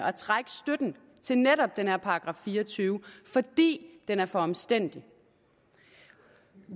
og trække støtten til netop den her § fire og tyve fordi den er for omstændelig